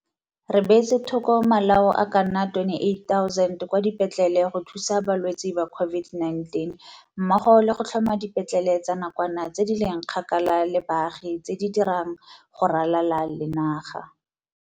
20 Re beetse thoko malao a ka nna 28 000 kwa dipetlele go thusa balwetse ba COVID-19 mmogo le go tlhoma dipetlele tsa nakwana tse di leng kgakala le baagi tse di dirang go ralala le naga.